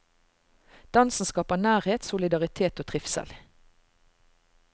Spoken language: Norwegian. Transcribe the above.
Dansen skaper nærhet, solidaritet og trivsel.